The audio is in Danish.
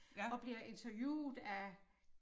Og bliver interviewet af